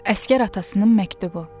Əsgər atasının məktubu.